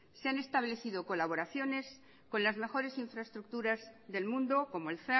se han establecido colaboraciones con las mejores infraestructuras del mundo como el